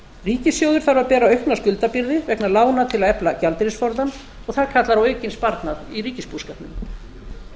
ríkissjóður þarf að bera aukna skuldabyrði vegna lána til að efla gjaldeyrisforðann og það kallar á aukinn sparnað í ríkisbúskapnum